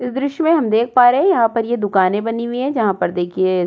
इस दृश्य में हम देख पा रहे है यहाँ पर ये दुकाने बनी हुई है जहां पर देखिये --